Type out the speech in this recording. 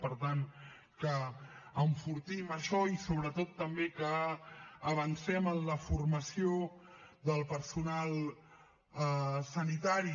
per tant que enfortim això i sobretot també que avancem en la formació del personal sanitari